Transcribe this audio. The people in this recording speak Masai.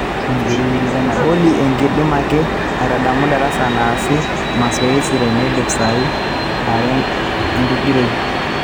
olly ekidim ake aitadamu darasa naasi masoesi teneidip saai are atingiroi